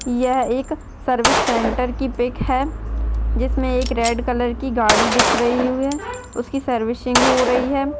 यह एक service centre की पीक है जिसमे एक रेड कलर की गाड़ी दिख रही हुई है उसकी सर्विसिंग हो रही है।